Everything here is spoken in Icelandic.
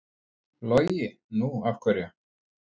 Logi: Nú af hverju?